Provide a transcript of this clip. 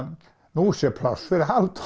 nú sé pláss fyrir Halldóru